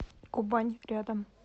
кубань рядом